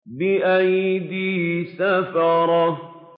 بِأَيْدِي سَفَرَةٍ